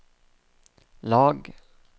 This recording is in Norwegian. lag